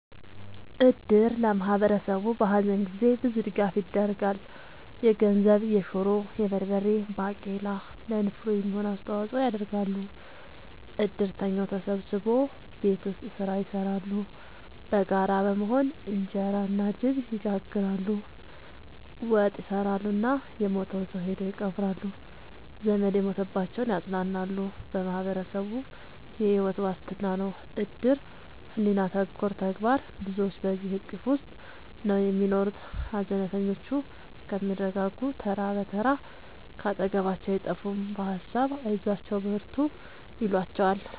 እድር ለማህበረሰቡ በሀዘን ጊዜ ብዙ ድጋፍ ይደረጋል። የገንዘብ፣ የሹሮ፣ የበርበሬ ባቄላ ለንፍሮ የሚሆን አስተዋጽኦ ያደርጋሉ። እድርተኛው ተሰብስቦ ቤት ውስጥ ስራ ይሰራሉ በጋራ በመሆን እንጀራ እና ድብ ይጋግራሉ፣ ወጥ ይሰራሉ እና የሞተውን ሰው ሄደው ይቀብራሉ። ዘመድ የሞተባቸውን ያፅናናሉ በማህበረሰቡ የሕይወት ዋስትና ነው እድር ሕሊና ተኮር ተግባር ብዙዎች በዚሕ እቅፍ ውስጥ ነው የሚኖሩት ሀዘነተኞቹ እስከሚረጋጉ ተራ ብትር ካጠገባቸው አይጠፍም በሀሳብ አይዟችሁ በርቱ ይሏቸዋል።